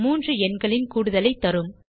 3 எண்களின் கூடுதலைத் தரும்